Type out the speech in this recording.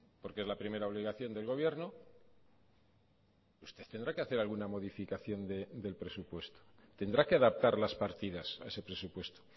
porque es la primera obligación del gobierno usted tendrá que hacer alguna modificación del presupuesto tendrá que adaptar las partidas a ese presupuesto